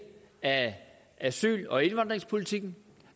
af asyl og indvandringspolitikken